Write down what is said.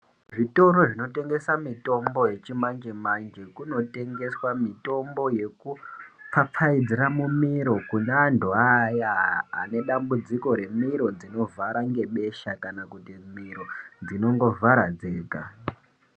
Zvitoro zvinotengesa mitombo yechimanje-manje kunotengeswa mitombo yekupfapfaidzira mumiro kune antu aya ane dambudziko remiro dzinovhara ngebesha kana kuti miro dzinogovhara dzega.